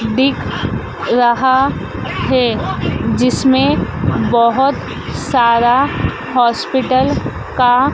दिख रहा है जिसमें बहोत सारा हॉस्पिटल का--